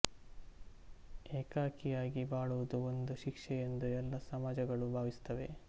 ಏಕಾಕಿಯಾಗಿ ಬಾಳುವುದು ಒಂದು ಶಿಕ್ಷೆ ಎಂದು ಎಲ್ಲ ಸಮಾಜಗಳೂ ಭಾವಿಸುತ್ತವೆ